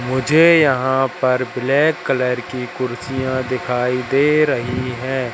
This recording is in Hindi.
मुझे यहां पर ब्लैक कलर की कुर्सियां दिखाई दे रही हैं।